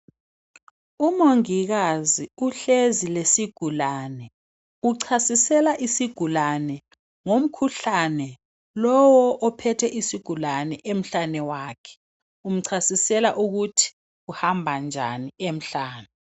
Umongikazi uhlezi lesigulane. Uchasisela isigulane ngomkhuhlane lowo ophethe isigulane emhlane wakhe. Umchasisela ukuthi kuhamba njani emhlane.